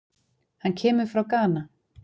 Hann kemur frá Gana.